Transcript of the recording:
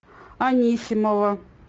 анисимова